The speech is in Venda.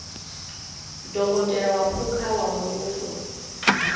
dokotela wa phukha wa muvhuso